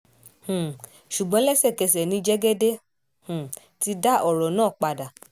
um ṣùgbọ́n lẹ́sẹ̀kẹsẹ̀ ni jẹ́gẹ́dẹ́ um ti dá ọ̀rọ̀ náà padà